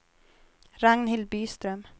Ragnhild Byström